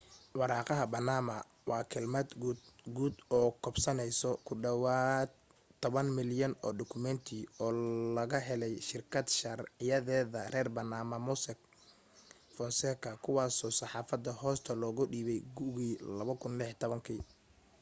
waraaqaha baanama waa kelmad guud oo koobsanaysa ku dhawaad toban milyan oo dukumeenti oo laga helay shirkad sharciyeeda reer baanama mossack fonseca kuwaasoo saxaafadda hoosta looga dhiibay gugii 2016